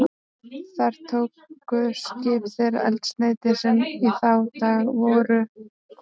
Þar tóku skip þeirra eldsneyti, sem í þá daga voru kol.